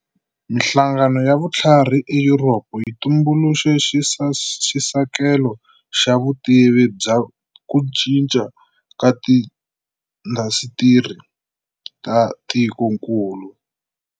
Minhlangano ya vutlhari eYuropa yi tumbuluxe xisekelo xa vutivi bya ku cinca ka tiindasitiri ta tikonkulu.